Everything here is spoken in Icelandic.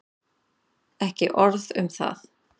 Ekki orð um það.